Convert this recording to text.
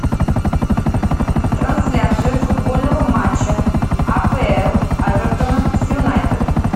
трансляция футбольного матча апл эвертона с юнайтед